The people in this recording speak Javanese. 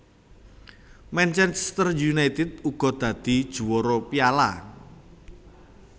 Manchester United uga dadi juwara Piala